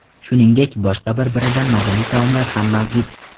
Shuningdek, boshqa bir-biridan mazali taomlar ham mavjud.